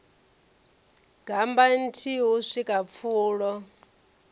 gammba nthihi u swika pfulo